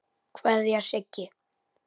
Kveðja, Siggi.